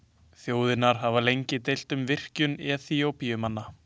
Þjóðirnar hafa lengi deilt um virkjun Eþíópíumanna.